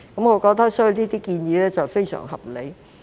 我覺得這些建議非常合理。